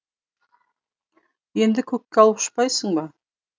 енді көкке алып ұшпайсың ба